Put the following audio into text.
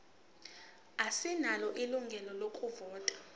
asinalo ilungelo lokuvota